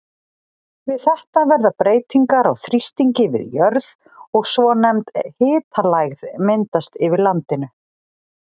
Við þetta verða breytingar á þrýstingi við jörð og svonefnd hitalægð myndast yfir landinu.